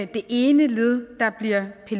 det ene led der bliver